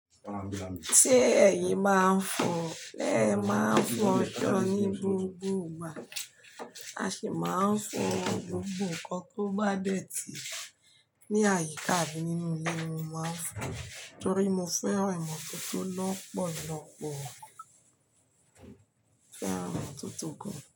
Ṣé ẹ̀yin máa ń fọ? Máa ń fọsọ ní gbogbo ìgbà. A sì máa ń fọ gbogbo nǹkan tó bá dẹ́ ti ní àyíká àbí nínú ilé mo máa ń fọ, torí mo fẹ́ran ìmọ̀tótó lọ́pọ̀lọ́pọ̀. Mo fẹ́ran ìmọ̀tótó gan.